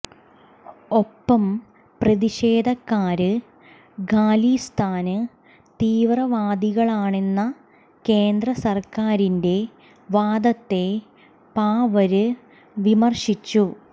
ഒപ്പം പ്രതിഷേധക്കാര് ഖാലിസ്ഥാന് തീവ്രവാദികളാണെന്ന കേന്ദ്ര സര്ക്കാരിന്റെ വാദത്തെ പവാര് വിമര്ശിച്ചു